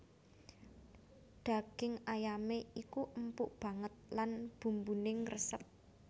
Daging ayamé iku empuk banget lan bumbuné ngresep